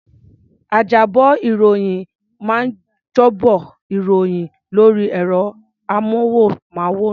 Ajábọ̀-ìròyìn máa ń jábọ̀ ìròyìn lórí ẹ̀rọ-amóhùnmáwòrán.